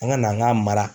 An ka na an ka mara